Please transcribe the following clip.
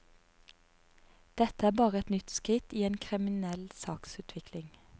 Dette er bare et nytt skritt i en kriminell saksutvikling.